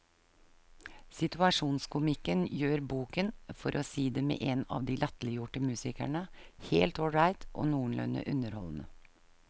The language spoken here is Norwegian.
Situasjonskomikken gjør boken, for å si det med en av de latterliggjorte musikerne, helt ålreit og noenlunde underholdende.